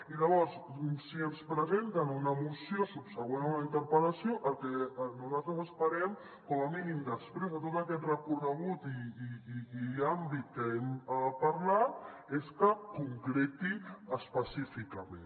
i llavors si ens presenten una moció subsegüent a una interpel·lació el que nosaltres esperem com a mínim després de tot aquest recorregut i àmbit que hem parlat és que concreti específicament